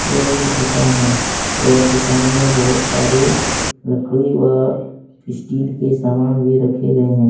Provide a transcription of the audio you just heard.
यह एक दुकान है यह दुकान में बहुत सारी लकड़ी व स्टील के सामान भी रखे गए हैं।